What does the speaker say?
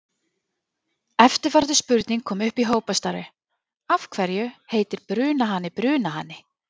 Eftirfarandi spurning kom upp í hópastarfi: Af hverju heitir brunahani brunahani?